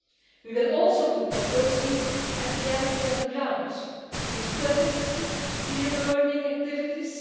We will also look more closely at the reality on the ground through studies and peer learning activities.